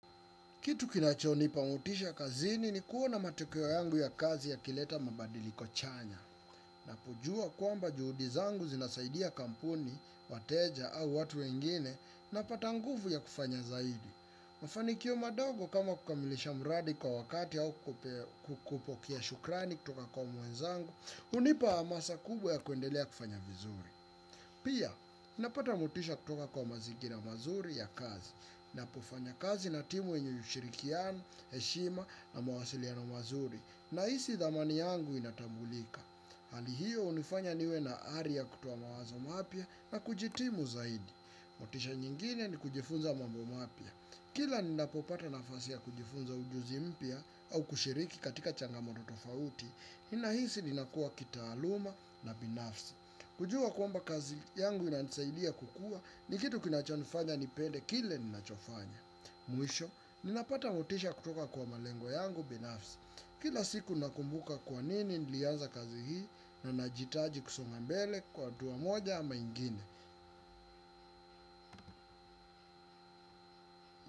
Kitu kinachonipa mutisha kazini ni kuona matokeo yangu ya kazi ya yileta mabadili kochanya. Na kujua kwamba juhudi zangu zinasaidia kampuni, wateja au watu wengine napata nguvu ya kufanya zaidi. Mafanikio madogo kama kukamilisha muradi kwa wakati au kupokea shukrani kutoka kwa muenzangu, unipa amasa kubwa ya kuendelea kufanya vizuri. Pia napata mutisha kutoka kwa mazingira mazuri ya kazi. Na pofanya kazi na timu yenye ushirikiano, heshima na mawasiliano mazuri nahisi dhamani yangu inatambulika. Hali hyo unifanya niwe na ari ya kutoa mawazo mapya na kujitimu zaidi. Motisha nyingine ni kujifunza mambo mapya. Kila ninapopata nafasi ya kujifunza ujuzi mpya au kushiriki katika changamato tofauti nahisi ninakua kitaaluma na binafsi. Kujua kwamba kazi yangu inansaidia kukua ni kitu kinachonifanya nipende kile ninachofanya. Mwisho, ninapata motisha kutoka kwa malengo yangu binafsi. Kila siku nakumbuka kwa nini nilianza kazi hii. Na najiitaji kusonga mbele kwa hatua moja ama ingine.